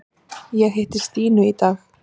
Ég hitti Stínu í dag.